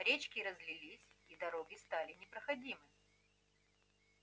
речки разлились и дороги стали непроходимы